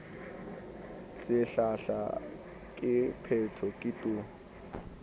sehlahla ke phetho ke tu